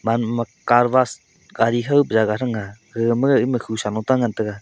ama car wash gadi khaw ka jaga thangga gagama ema khusa lota ngan taiga.